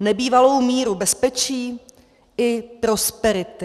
nebývalou míru bezpečí i prosperity.